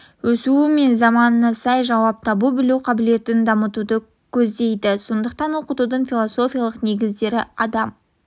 өсуі мен заманына сай жауап таба білу қабілетін дамытуды көздейді сондықтан оқытудың философиялық негіздері адам